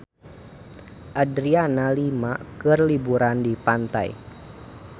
Adriana Lima keur liburan di pantai